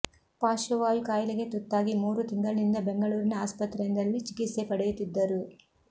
ಪಾರ್ಶ್ವವಾಯು ಕಾಯಿಲೆಗೆ ತುತ್ತಾಗಿ ಮೂರು ತಿಂಗಳಿನಿಂದ ಬೆಂಗಳೂರಿನ ಆಸ್ಪತ್ರೆಯೊಂದರಲ್ಲಿ ಚಿಕಿತ್ಸೆ ಪಡೆಯುತ್ತಿದ್ದರು